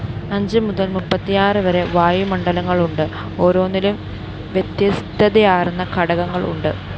അഞ്ചുമുതല്‍ മുപ്പത്തിയാറ് വരെ വായുമണ്ഡലങ്ങളുണ്ട്! ഓരോന്നിലും വ്യത്യസ്ഥതയാര്‍ന്ന ഘടകങ്ങള്‍ ഉണ്ട്